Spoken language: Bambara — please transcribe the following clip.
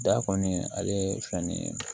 Da kɔni ale ye fɛn ni ye